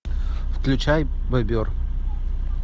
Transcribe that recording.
включай бобер